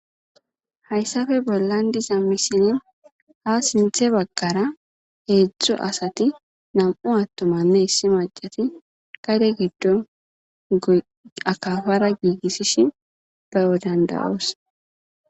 hayssafe bollandiza misinin ha sinthe baggara heedzdzu asati nam7u attumanne issi macati kade giddon akafara giigissishi bayodandawoos